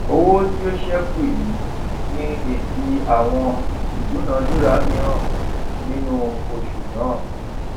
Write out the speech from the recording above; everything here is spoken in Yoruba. owó tó sẹkù yìí ni èsì àwọn ìdúnàdúrà míràn nínú oṣù náà